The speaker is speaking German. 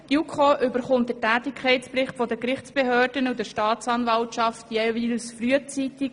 Die JuKo erhält den Tätigkeitsbericht von Gerichtsbehörden und Staatsanwaltschaft jeweils frühzeitig.